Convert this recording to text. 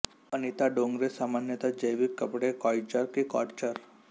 अनिता डोंगरे सामान्यत जैविक कपडे कॉयचर की काॅटचर